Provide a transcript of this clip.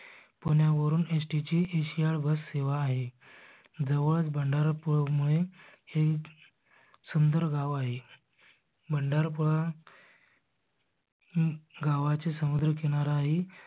पुण्यावरून S T ची एस याड bus सेवा आहे. जवळच भंडारा पुळ मुळे हे सुंदर गाव आहे. भंडार पुळा गावाचे समुद्र किनाराही